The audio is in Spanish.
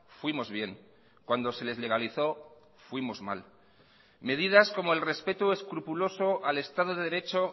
fuimos bien cuando se les legalizó fuimos mal medidas como el respeto escrupuloso al estado de derecho